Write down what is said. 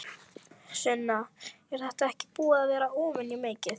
Sunna: Er þetta ekki búið að vera óvenju mikið?